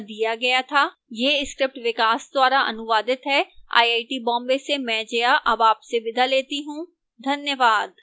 यह स्क्रिप्ट विकास द्वारा अनुवादित है आईआईटी बॉम्बे से मैं जया अब आपसे विदा लेती हूं धन्यवाद